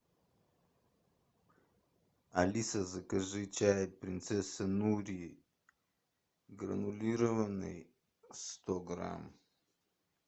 алиса закажи чай принцесса нури гранулированный сто грамм